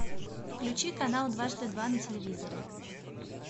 включи канал дважды два на телевизоре